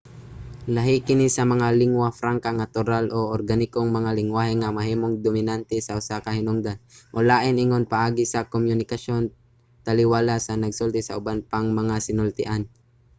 lahi kini sa mga lingua franca nga natural o organikong mga lenggwahe nga nahimong dominante sa usa ka hinungdan o lain ingon paagi sa komunikasyon taliwala sa mga nagsulti sa uban pang mga sinultian